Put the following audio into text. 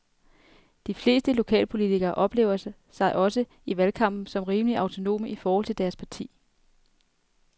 De fleste lokalpolitikere oplever sig også i valgkampen som rimeligt autonome i forhold til deres parti.